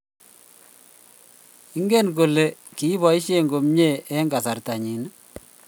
ingen ole kibashe komie eng kasarta nyi